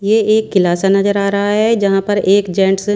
ये एक किला सा नजर आ रहा है जहां पर एक जेंट्स --